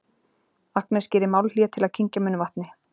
Agnes gerir málhlé til að kyngja munnvatni.